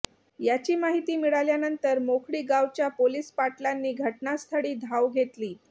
याची माहिती मिळाल्यानंतर मेखळी गावच्या पोलीस पाटलांनी घटनास्थळी धाव घेतली